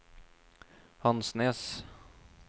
Hansnes